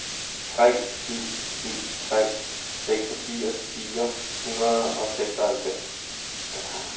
tre syv syv tre seksogfirs fire hundrede og seksoghalvfems